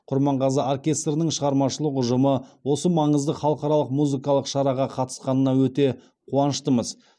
құрманғазы оркестрінің шығармашылық ұжымы осы маңызды халықаралық музыкалық шараға қатысқанына өте қуаныштымыз